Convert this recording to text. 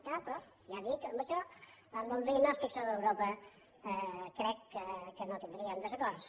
ja li ho dic en això en el diagnòstic sobre europa crec que no tindríem desacords